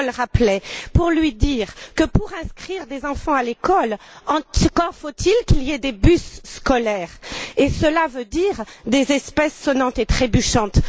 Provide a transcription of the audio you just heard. Daul rappelait, pour lui dire que, pour inscrire des enfants à l'école, encore faut il qu'il y ait des bus scolaires, et cela veut dire des espèces sonnantes et trébuchantes.